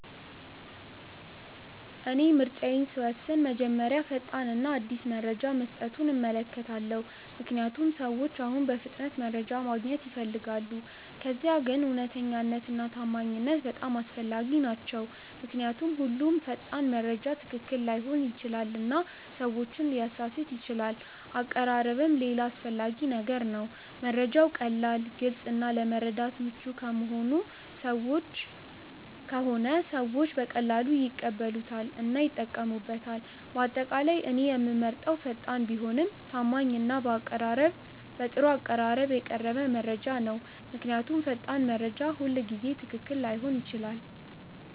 እኔ ምርጫዬን ስወስን መጀመሪያ ፈጣን እና አዲስ መረጃ መስጠቱን እመለከታለሁ፣ ምክንያቱም ሰዎች አሁን በፍጥነት መረጃ ማግኘት ይፈልጋሉ። ከዚያ ግን እውነተኛነት እና ታማኝነት በጣም አስፈላጊ ናቸው ምክንያቱም ሁሉም ፈጣን መረጃ ትክክል ላይሆን ይችላል እና ሰዎችን ሊያሳስት ይችላል አቀራረብም ሌላ አስፈላጊ ነገር ነው፤ መረጃው ቀላል፣ ግልጽ እና ለመረዳት ምቹ ከሆነ ሰዎች በቀላሉ ይቀበሉታል እና ይጠቀሙበታል። በአጠቃላይ እኔ የምመርጠው ፈጣን ቢሆንም ታማኝ እና በጥሩ አቀራረብ የቀረበ መረጃ ነው። ምክንያቱም ፈጣን መረጃ ሁልጊዜ ትክክል ላይሆን ይችላል።